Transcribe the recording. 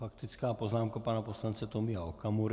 Faktická poznámka pana poslance Tomia Okamury.